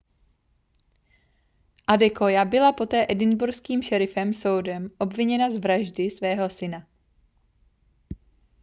adekoya byla poté edinburghským šerifským soudem obviněna z vraždy svého syna